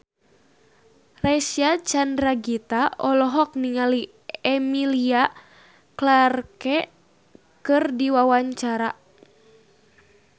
Reysa Chandragitta olohok ningali Emilia Clarke keur diwawancara